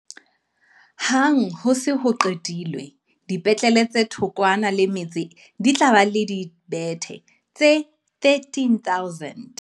Hang ha ho se ho qetilwe, dipetlele tse thokwana le metse di tla ba le dibethe tse13 000.